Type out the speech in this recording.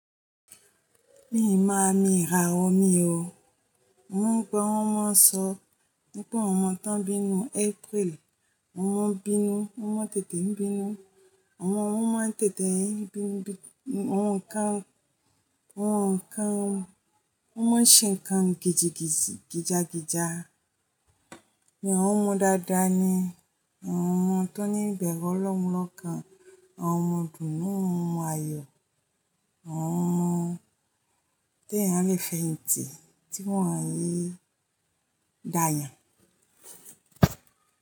Mi ò mọ àmì ìràwọ̀ mí o. Mo mọn gbọ́ wọn mon ń sọ wípé àwọn ọmọ tán bí nínú April. Mo máa ń bínú, mo máa ń tètè ń bínú, àwọn wọ́n máa ń tètè ń bínú jù, àwọn ǹkan, àwọn ǹkan, wọn máa ń ṣe ǹkan giji giji, gija gija mi ò hun ọmọ dáadáa ni. Àwọn ọmọ tó ní ìbẹ̀rù ọlọ́run lọ́kàn, àwọn ọmọ ìdùnú, ọmọ ayọ̀, àwọn ọmọ tèèyàn lè fẹ̀yìntì tí wọ́n ní dayàn.